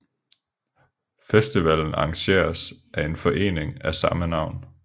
Festivalen arrangeres af en forening med samme navn